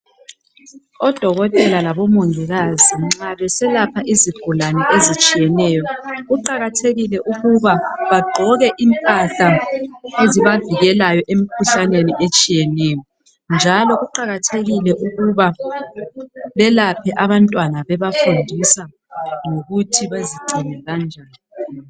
Odokotela labomongikazi nxa beselapha izigulane ezitshiyeneyo kuqakathekile ukuba bagqoke impahla ezibavikelayo emkhuhlaneni etshiyeneyo njalo kuqakathekile ukuba belaphe abantwana bebafundisa ngokuthi bezigcine kanjani.